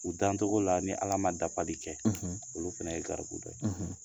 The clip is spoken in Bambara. U dancogo la ni Ala ma dafali kɛ, olu fana ye garibu dɔ ye